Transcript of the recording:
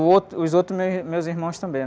O outro, os outros meu, meus irmãos também., né?